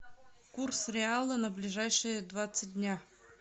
курс реала на ближайшие двадцать дня